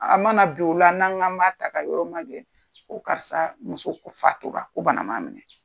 A mana bin o la n'an k'an ma ta ka yɔrɔ magɛn ko karisa muso fatura ko bana man minɛ.